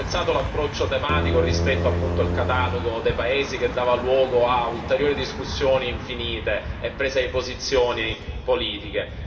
Ho apprezzato l'approccio tematico rispetto al catalogo dei paesi che dava luogo a ulteriori discussioni infinite e prese di posizione politiche.